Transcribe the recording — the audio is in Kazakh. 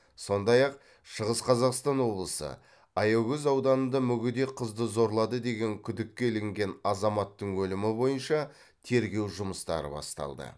сондай ақ шығыс қазақстан облысы аягөз ауданында мүгедек қызды зорлады деген күдікке ілінген азаматтың өлімі бойынша тергеу жұмыстары басталды